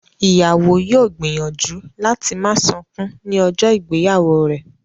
Ìyàwó yóò gbìyànjú láti má sunkún ní ọjọ́ ìgbéyàwó rẹ̀